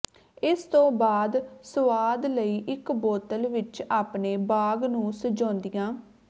ਇਸ ਤੋਂ ਬਾਅਦ ਸੁਆਦ ਲਈ ਇਕ ਬੋਤਲ ਵਿਚ ਆਪਣੇ ਬਾਗ ਨੂੰ ਸਜਾਉਂਦਿਆਂ